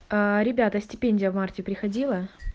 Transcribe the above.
ребята стипендия в марте приходила